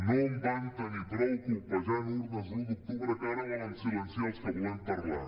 no en van tenir prou colpejant urnes l’un d’octubre que ara volen silenciar els que volem parlar